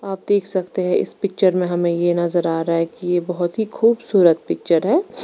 आप देख सकते है इस पिक्चर मे हमे ये नजर आ रहा है की ये बहुत ही खूबसूरत पिक्चर है।